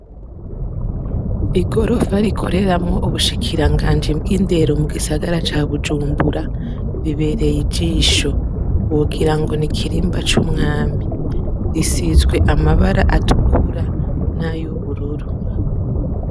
Igorofa rikoreramwo ubushikiranganji bw’indero mu gisagara ca Bujumbura, bibereye ijisho, wogira ngo n’ikirimba c’umwami, risizwe amabara atukura n'ayubururu.